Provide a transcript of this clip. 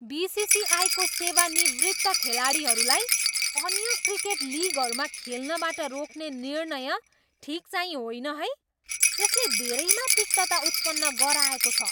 बिसिसिआईको सेवानिवृत्त खेलाडीहरूलाई अन्य क्रिकेट लिगहरूमा खेल्नबाट रोक्ने निर्णय ठिकचाहिँ होइन है। यसले धेरैमा तिक्तता उत्पन्न गराएको छ।